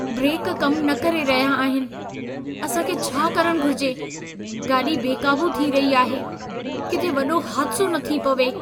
Brake कम न करे रहिया आहिनि। असां खे छा करणु घुर्जे? गाॾी बेक़ाबू थी रही आहे। किथे वॾो हादिसो न थी पवे।